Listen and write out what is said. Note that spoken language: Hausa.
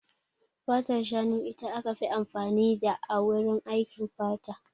Fatar shanu ita aka fi amfani da a wurin aikin fata.